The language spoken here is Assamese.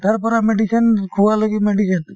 উঠাৰ পৰা medicine শুৱালৈকে medicine